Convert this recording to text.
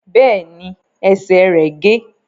Bẹ́ẹ̀ ni, ẹsè rẹ̀ gé.